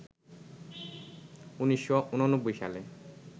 ১৯৮৯ সালে